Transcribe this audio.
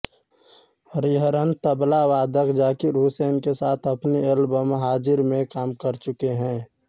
हरिहरन तबला वादक ज़ाकिर हुसैन के साथ अपनी एल्बम हाज़िर में काम कर चुके हैं